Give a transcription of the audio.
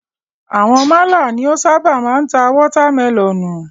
Àwọn málà ni o ṣábà máa ń ta watermẹlọ̀nùù.